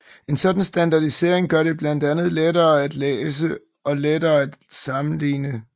En sådan standardisering gør det blandt andet lettere at læse og lettere at sammenligne